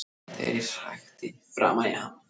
Þegar ég hrækti framan í hann.